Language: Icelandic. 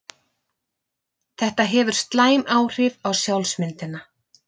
Þetta hefur slæm áhrif á sjálfsmyndina.